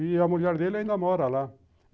E a mulher dele ainda mora lá.